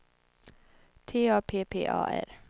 T A P P A R